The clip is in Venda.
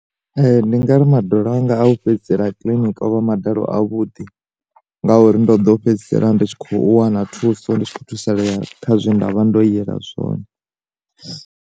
Ndi ngari maḓala anga a u fhedzisela kiḽiniki ovha madalo a vhuḓi, ngauri ndo ḓo fhedzisela nditshi kho wana thuso ndi tshi kho thusalea kha zwe nda vha ndo yela zwone.